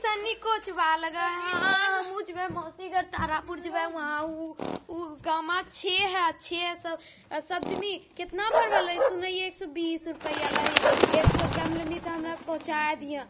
तनी कुछ हुआ लगा है हमहू जइबै मौसी घर तारापुर जइबै वहां गांव में छी हैं छी हैं सब सब जानिहि कितना भरवैलहीं सुन ही एक सौ बीस रुपैया एक सौ लेमहि तो हमारा पंहुचा दिहे--